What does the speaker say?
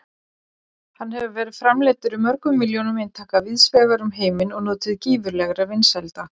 Hann hefur verið framleiddur í mörgum milljónum eintaka víðsvegar um heiminn og notið gífurlegra vinsælda.